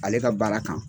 Ale ka baara kan